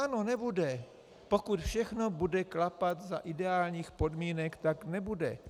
Ano, nebude, pokud všechno bude klapat za ideálních podmínek, tak nebude.